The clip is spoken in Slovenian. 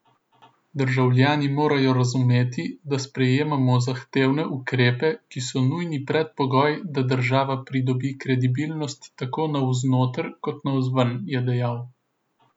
Državljani morajo razumeti, da sprejemamo zahtevne ukrepe, ki so nujni predpogoj, da država pridobi kredibilnost tako navznoter kot navzven, je dejal.